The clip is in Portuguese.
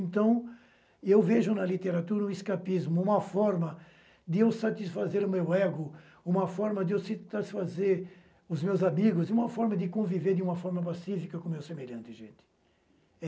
Então eu vejo na literatura um escapismo, uma forma de eu satisfazer o meu ego, uma forma de eu satisfazer os meus amigos, uma forma de conviver de uma forma pacífica com meus semelhantes, gente.